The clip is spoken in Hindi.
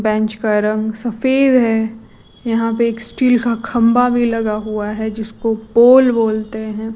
बेंच का रंग सफेद है यहां पे एक स्टील का खंभा भी लगा हुआ है जिसको पोल बोलते हैं।